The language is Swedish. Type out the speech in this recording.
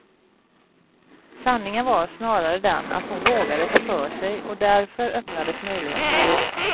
Sanningen var snarare den att hon vågade ta för sig och därför öppnades möjligheterna.